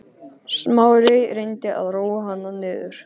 Smári reyndi að róa hana niður.